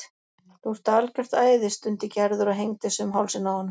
Þú ert algjört æði stundi Gerður og hengdi sig um hálsinn á honum.